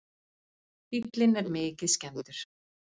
Bíllinn er mikið skemmdur